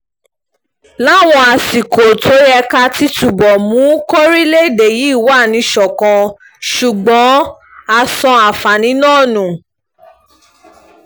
a láwọn àsìkò tó yẹ ká ti túbọ̀ mú kọrílégédé yìí wà níṣọ̀kan ṣùgbọ́n a sọ àǹfààní náà nù